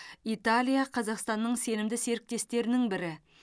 италия қазақстанның сенімді серіктестерінің бірі